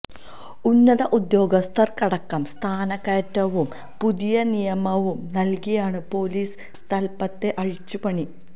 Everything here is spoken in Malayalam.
ഉന്നത ഉദ്യോഗസ്ഥർക്കടക്കം സ്ഥാനക്കയറ്റവും പുതിയ നിയമനവും നൽകിയാണ് പോലീസ് തലപ്പത്തെ അഴിച്ചുപണി